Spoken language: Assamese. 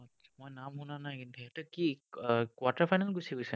মই নাম শুনা নাই কিন্তু। সিহঁতে কি quarter final গুছি গৈছে?